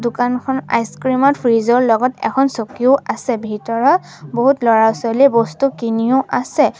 দোকানখন আইচক্ৰীম ত ফ্ৰীজ ৰ লগত এখন চকীও আছে ভিতৰত বহুত ল'ৰা ছোৱালীয়েও বস্তু কিনিও আছে।